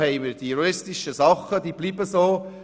Die juristischen Gegebenheiten bleiben so.